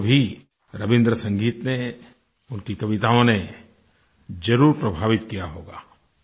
आपको भी रबीन्द्र संगीत ने उनकी कविताओं ने ज़रुर प्रभावित किया होगा